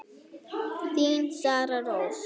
Þín, Sara Rós.